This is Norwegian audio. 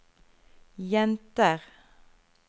jenter